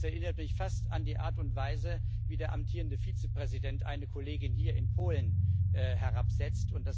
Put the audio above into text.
Das erinnert mich fast an die Art und Weise, wie der amtierende Vizepräsident eine Kollegin hier in Polen herabsetzt.